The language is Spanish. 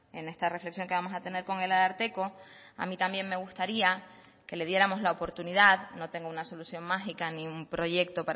en esta reflexión que vamos a tener con el ararteko a mí también me gustaría que le diéramos la oportunidad no tengo una solución mágica ni un proyecto